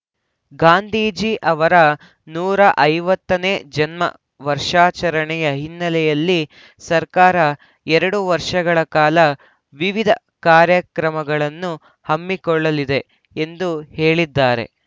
ಗಾಂಧೀಜಿ ಅವರ ನೂರ ಐವತ್ತ ನೇ ಜನ್ಮ ವರ್ಷಾಚರಣೆಯ ಹಿನ್ನೆಲೆಯಲ್ಲಿ ಸರ್ಕಾರ ಎರಡು ವರ್ಷಗಳ ಕಾಲ ವಿವಿಧ ಕಾರ್ಯಕ್ರಮಗಳನ್ನು ಹಮ್ಮಿಕೊಳ್ಳಲಿದೆ ಎಂದು ಹೇಳಿದ್ದಾರೆ